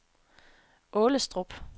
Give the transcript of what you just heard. Aalestrup